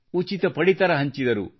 ಉಚಿತ ಪಡಿತರ ಹಂಚಿದರು